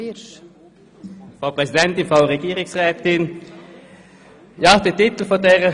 Es wird einfach eine spezielle Gruppe angesprochen, was etwas seltsam anmutet.